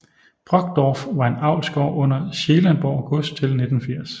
Brockdorff var en avlsgård under Scheelenborg Gods til 1980